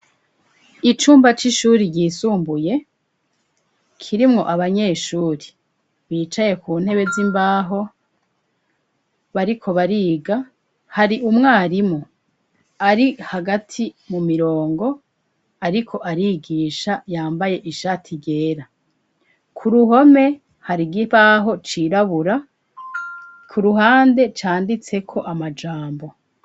Icumba c'ishuri ryisumbuye kirimwo abanyeshuri bicaye ku ntebe z'imbaho bariko bariga .Hari umwarimu ari hagati mu mirongo ariko arigisha yambaye ishati ryera ku ruhome hari ikibaho cirabura ku ruhande canditse ko amajambo.